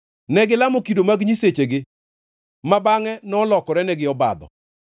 Negilamo kido mag nyisechegi, ma bangʼe nolokorenegi obadho.